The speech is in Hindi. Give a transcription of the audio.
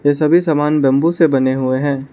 ये सभी सामान बंबू से बने हुए हैं।